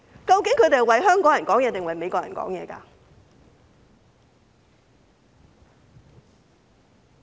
究竟他們是為香港人發聲，還是為美國人發聲？